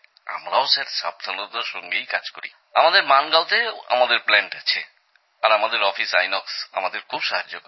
আমরাও স্যার সাবধানতার সঙ্গেই কাজ করি আমাদের মানগাঁওতেও আমাদের প্ল্যান্ট আছে আর আমাদের অফিস আইনক্স আমাদের খুব সাহায্য করে